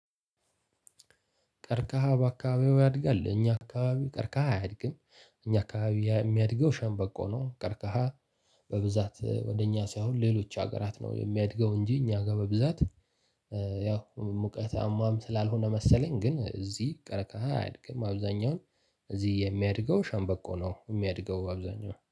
ቅርቀሃ በአካባቢው ያድጋል እኛ አካባቢ ቅርቀሃ አያድግም እኛ አካባቢ የሚያድገው ሸምበቆ ነው። ቅርቀሃ በብዛት ወደ እኛ ሳይሆን ሌሎች ሀገራት ነው የሚያድገው እንጂ እኛ ጋር በብዛት። ያው ሙቀት አሟም ስላልሆነ መሰለኝ ግን እዚህ ቅረቀሃ አያድግም። አብዛኛውን እዚህ የሚያድገው ሸምበቆ ነው የሚያድገው አብዛኛው